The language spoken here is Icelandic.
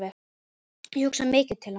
Ég hugsa mikið til hans.